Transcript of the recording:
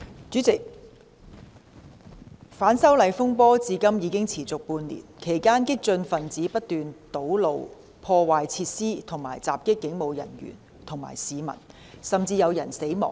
主席，反修例風波至今已持續半年，其間激進分子不斷堵路、破壞設施及襲擊警務人員和市民，甚至有人死亡。